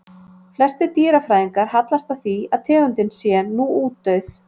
Flestir dýrafræðingar hallast að því að tegundin sé nú útdauð.